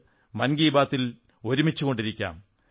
നമുക്ക് മൻകീ ബാത്തിൽ ഒരുമിച്ചുകൊണ്ടിരിക്കാം